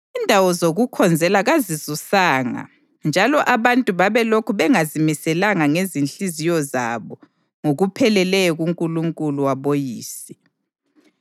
Izindawo zokukhonzela kazisuswanga njalo abantu babelokhu bengazimiselanga ngezinhliziyo zabo ngokupheleleyo kuNkulunkulu waboyise.